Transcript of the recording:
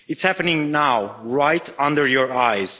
It's happening now, right before your eyes.